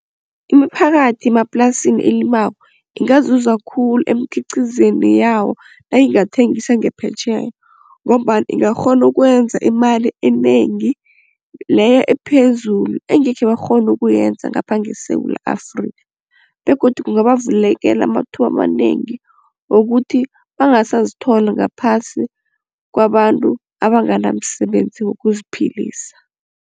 Imiphakathi yemaplasini elimako ingazuza khulu emikhiqizweni yabo nayingathengisa ngaphetjheya ngombana ingakghona ukwenza imali enengi leyo ephezulu engekhe bakghone ukuyenza ngapha ngeSewula Afrikha begodu kungabavulela amathuba amanengi wokuthi bangasazithola ngaphasi kwabantu abanganamsebenzi wokuziphilisa.